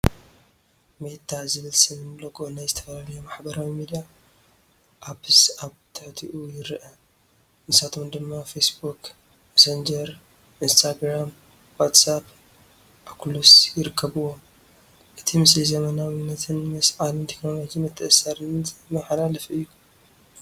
“ሜታ” ዝብል ስምን ሎጎ ናይ ዝተፈላለዩ ማሕበራዊ ሚድያ ኣፕስ ኣብ ትሕቲኡ ይረአ፡ ንሳቶም ድማ ፌስቡክ፡ መሰንጀር ኢንስታግራም፡ ዋትስኣፕ፡ ኦኩሉስ ይርከብዎም። እቲ ምስሊ ዘመናዊነትን ምስ ዓለም ቴክኖሎጂ ምትእስሳርን ዘመሓላልፍ እዩ።